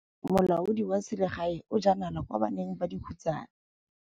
Molaodi wa selegae o jaa nala kwa baneng ba dikhutsana.